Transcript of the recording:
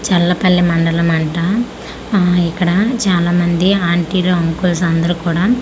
చల్లపల్లి మండలం అంట ఆ ఇక్కడ చాలామంది ఆంటీ లు అంకుల్స్ అందరు కుడా .]